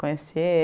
Conheci